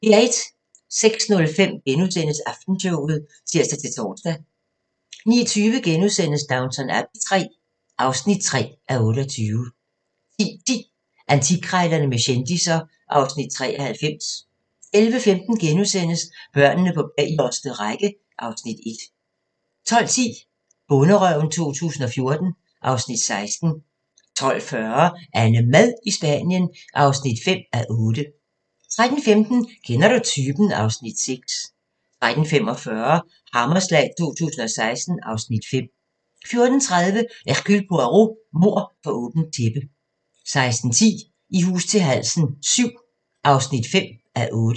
06:05: Aftenshowet *(tir-tor) 09:20: Downton Abbey III (3:28)* 10:10: Antikkrejlerne med kendisser (Afs. 93) 11:15: Børnene på bagerste række (Afs. 1)* 12:10: Bonderøven 2014 (Afs. 16) 12:40: AnneMad i Spanien (5:8) 13:15: Kender du typen? (Afs. 6) 13:45: Hammerslag 2016 (Afs. 5) 14:30: Hercule Poirot: Mord for åbent tæppe 16:10: I hus til halsen VII (5:8)